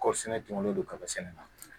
Kɔɔri sɛnɛ tɔlen don kaba sɛnɛ